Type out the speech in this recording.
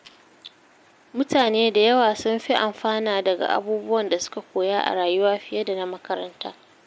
Mutane da yawa sun fi amfana daga abubuwan da suka koya a rayuwa fiye da na makaranta